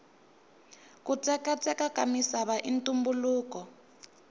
kutsekatseka kamisava intumbuluko